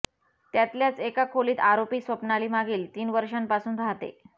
त्यातल्याच एका खोलीत आरोपी स्वप्नाली मागील तीन वर्षांपासून राहते